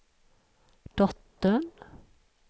dottern